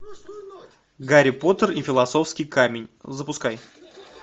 гарри поттер и философский камень запускай